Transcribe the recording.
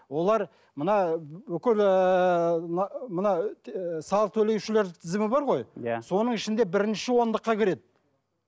олар мына бүкіл ыыы мына салық төлеушілер тізімі бар ғой иә соның ішінде бірінші ондыққа кіреді